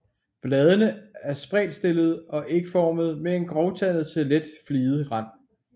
Bladene er spredtstillede og ægformede med en grovtandet til let fliget rand